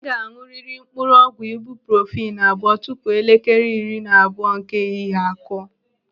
Ị ga-aṅụrịrị mkpụrụ ọgwụ ibuprofenu abụọ tupu elekere iri na abụọ nke ehihie akụọ!